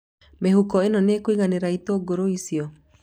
Mĩhuko ĩno nĩ ĩkũiganĩra itũngũrũ icio?